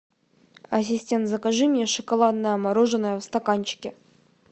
ассистент закажи мне шоколадное мороженое в стаканчике